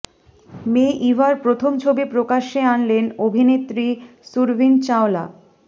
মেয়ে ইভার প্রথম ছবি প্রকাশ্যে আনলেন অভিনেত্রী সুরভিন চাওলা